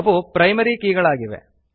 ಅವು ಪ್ರೈಮರಿ ಕೀಗಳಾಗಿವೆ